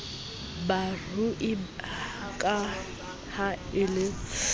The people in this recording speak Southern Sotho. barui ka ha e ba